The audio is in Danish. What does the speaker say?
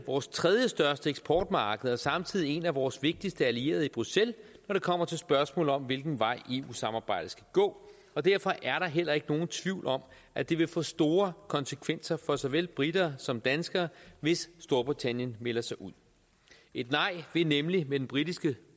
vores tredjestørste eksportmarked og samtidig en af vores vigtigste allierede i bruxelles når det kommer til spørgsmålet om hvilken vej eu samarbejdet skal gå og derfor er der heller ikke nogen tvivl om at det vil få store konsekvenser for såvel briterne som danskerne hvis storbritannien melder sig ud et nej vil nemlig med den britiske